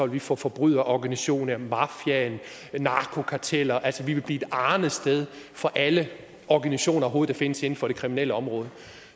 ville få forbryderorganisationer mafiaen narkokarteller altså vi ville blive et arnested for alle organisationer der overhovedet findes inden for det kriminelle område